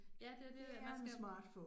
Ja, det det, man skal